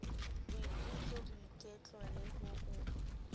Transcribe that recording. boikutlo boiketlo le ho o